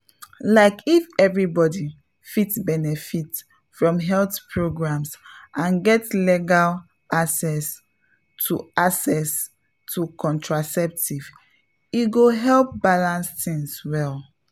like if everybody fit benefit from health programs and get legal access to access to contraceptives e go help balance things well.